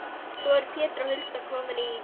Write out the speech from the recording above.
Svo eru Pétur og Hulda komin í